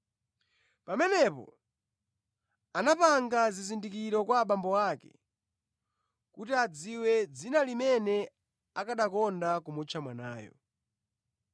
Pamenepo anapanga zizindikiro kwa abambo ake kuti adziwe dzina limene akanakonda kumutcha mwanayo.